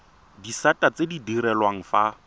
disata tse di direlwang fa